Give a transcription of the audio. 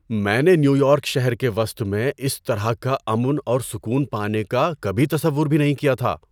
میں نے New York شہر کے وسط میں اس طرح کا امن اور سکون پانے کا کبھی تصور بھی نہیں کیا تھا!